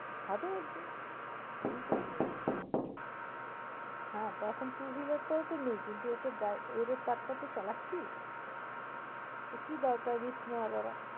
হবে একদিন। নেই তো কি হয়েছে। হ্যাঁ তা এখন two-wheeler টাও তো নেই কিন্তু এটার ডা~তার টাও তো চালাচ্ছিস। তা কি দরকার risk নেয়ার বাবা।